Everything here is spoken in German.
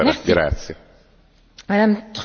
Frau Präsidentin, meine Damen und Herren!